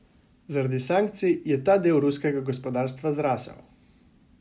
Zaradi sankcij je ta del ruskega gospodarstva zrasel.